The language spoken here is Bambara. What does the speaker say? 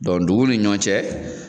duguw ni ɲɔ cɛ